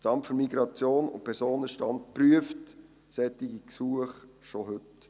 Das Amt für Migration und Personenstand (MiP) prüft solche Gesuche schon heute.